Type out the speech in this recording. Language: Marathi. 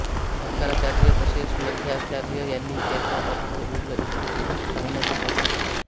शंकराचार्य तसेच मध्वाचार्य यांनी याचा अर्थ उलगडून सांगण्याचा प्रयत्न केला आहे